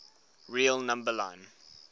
real number line